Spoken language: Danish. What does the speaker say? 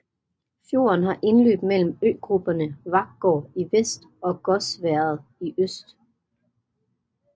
Fjorden har indløb mellem øgrupperne Varkgård i vest og Gåsværet i øst